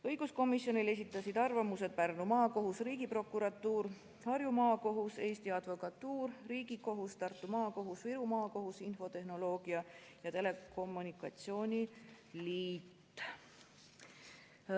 Õiguskomisjonile esitasid arvamuse Pärnu Maakohus, Riigiprokuratuur, Harju Maakohus, Eesti Advokatuur, Riigikohus, Tartu Maakohus, Viru Maakohus, Eesti Infotehnoloogia ja Telekommunikatsiooni Liit.